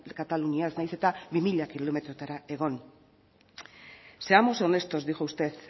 kataluniaz nahiz eta bi mila kilometrotara egon seamos honestos dijo usted